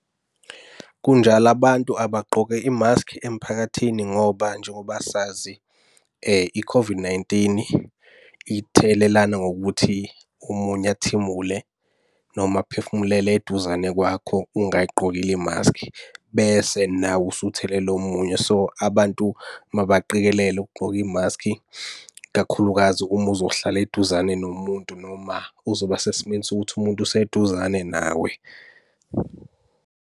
Kunjalo abantu abagqoke imaskhi emphakathini ngoba njengoba sazi i-COVID-19 ithelelana ngokuthi omunye athimule noma aphefumulele eduzane kwakho ungayigqokile imaskhi, bese nawe usuthelela omunye. So, abantu mabaqikelele ukugqoka imaskhi kakhulukazi uma uzohlala eduzane nomuntu noma uzoba sesimweni sokuthi umuntu useduzane nawe.